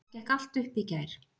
Það gekk allt upp í gær.